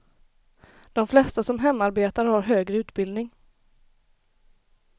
De flesta som hemarbetar har högre utbildning.